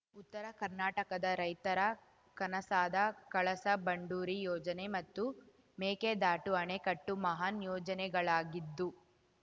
ಉತ್ತರ ಕರ್ನಾಟಕದ ರೈತರ ಕನಸಾದ ಕಳಸಾ ಬಂಡೂರಿ ಯೋಜನೆ ಮತ್ತು ಮೇಕೆದಾಟು ಅಣೆಕಟ್ಟು ಮಹಾನ್‌ ಯೋಜನೆಗಳಾಗಿದ್ದು